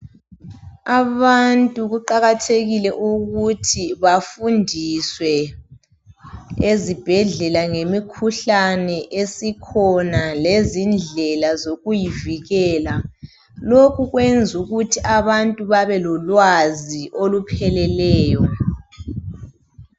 Abantu kuqakathekile ukuthi bafundiswe ezibhedlela ngemikhuhlane esikhona lezindlela zokuyivikela. Lokhu kwenzukuthi abantu babelolwazi olupheleleyo.